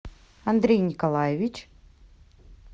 андрей николаевич